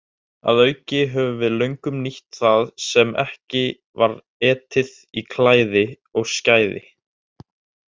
Að auki höfum við löngum nýtt það sem ekki var etið í klæði og skæði.